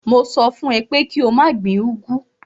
Mo sọ fún ẹ pé kí o má gbin úgwú.